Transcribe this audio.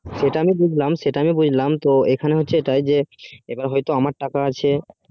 সেটা আমি বুঝলাম সেটা আমি বুঝলাম ও এবার হয় তো আমার টাকা আছে